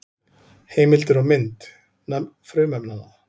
Heimildir og mynd: Nöfn frumefnanna.